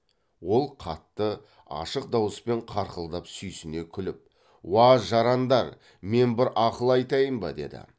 ол қатты ашық дауыспен қарқылдап сүйсіне күліп уа жарандар мен бір ақыл айтайын ба деді